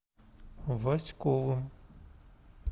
васьковым